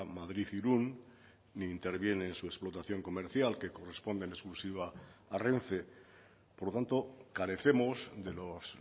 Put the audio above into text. madrid irún ni interviene en su explotación comercial que corresponde en exclusiva a renfe por lo tanto carecemos de los